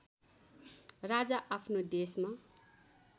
राजा आफ्नो देशमा